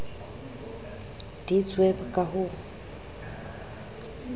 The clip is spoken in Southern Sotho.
deedsweb ka ha ho na